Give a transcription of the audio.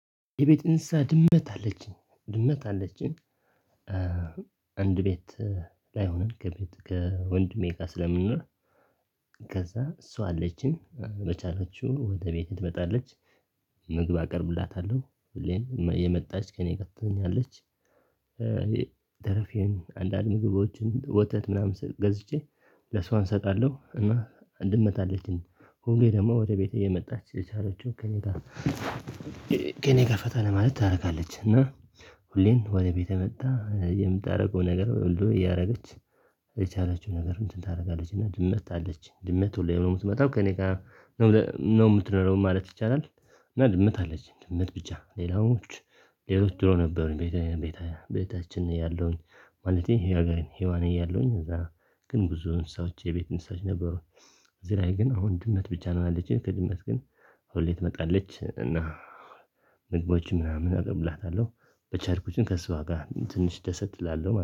የቤት እንስሳ ድመት አለችኝ ድመት አለችኝ። አንድ ቤት ላይሆንም ከቤት ከወንድ ጋ ስለምንኖር ከዛ እሷ አለችኝ በቻላችው ወደ ቤቴ ትመጣለች ምግብ አቀርብላታለሁ ሁሌም እየመጣች ከእኔ ቀጥተኛለች አንዳንድ ምግቦችን ወተት ምናምን ገዝቼ ለሷን እሰጣለሁ። እና ድመት አለችን ሁሌ ደግሞ ወደ ቤቴ እየመጣች የቻለችው ከእኔ ጋር ከእኔ ጋር ፈታ ለማለት ታረጋለች እና ሁሌም ወደ ቤቴ መጣ የምታደርገው ነገር ወልዶ እያደረገች የቻላችው ነገር እንትን ታደርጋለች። እና ድመት አለች ድመት ሁሌ ነው የምትመጣው ከእኔ ጋር ነው የምትኖረው ማለት ይቻላል። እና ድመት አለችኝ ድመት ብቻ ሌላዎች ሌሎች ድሮ ነበሩኝ። ቤቴ ቤቴ ቤታችን እያለሁኝ ማለቴ ሀገሬን ሄዋን እያለሁኝ እዛ ግን ብዙ እንስሳዎች የቤት እንስሶች ነበሩኝ። እዚህ ላይ ግን አሁን ድመት ብቻ ነው ያለችኝ ከድመት ግን ሁሌ ትመጣለች እና ምግቦችን ምናምን አቀርብላታለሁ በቻርኩችን ከሷ ጋር ትንሽ ደሰት እላለሁ